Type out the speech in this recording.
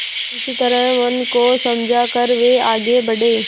इस तरह मन को समझा कर वे आगे बढ़े